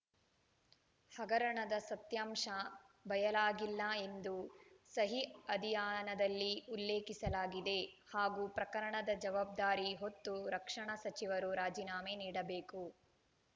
ಹಗರಣದ ಸತ್ಯಾಂಶ ಬಯಲಾಗಿಲ್ಲ ಎಂದು ಸಹಿ ಅಧಿಯಾನದಲ್ಲಿ ಉಲ್ಲೇಖಿಸಲಾಗಿದೆ ಹಾಗೂ ಪ್ರಕರಣದ ಜವಾಬ್ದಾರಿ ಹೊತ್ತು ರಕ್ಷಣಾ ಸಚಿವರು ರಾಜೀನಾಮೆ ನೀಡಬೇಕು